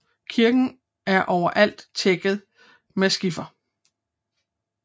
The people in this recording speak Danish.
Kirken er overalt tækket med skifer